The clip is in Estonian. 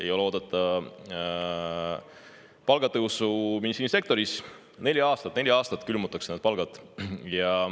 Ei ole oodata palgatõusu nii mõneski sektoris, neljaks aastaks külmutatakse teatud palgad.